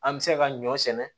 An bɛ se ka ɲɔ sɛnɛ